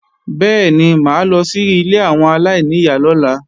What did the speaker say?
Bẹ́ẹ̀ni mà á lọ sí ilé àwọn aláìníyá lọ́la